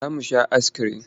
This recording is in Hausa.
Za mu sha askirim.